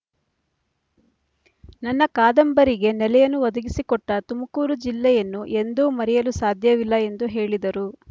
ನನ್ನ ಕಾದಂಬರಿಗೆ ನೆಲೆಯನ್ನು ಒದಗಿಸಿಕೊಟ್ಟ ತುಮಕೂರು ಜಿಲ್ಲೆಯನ್ನು ಎಂದೂ ಮರೆಯಲು ಸಾಧ್ಯವಿಲ್ಲ ಎಂದ ಹೇಳಿದರು